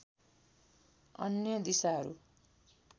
अन्य दिशाहरू